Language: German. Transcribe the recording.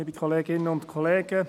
Sie haben das Wort.